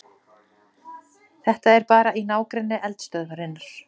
Þetta auglýsir sig sjálft